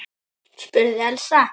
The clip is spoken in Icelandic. spurði Elsa.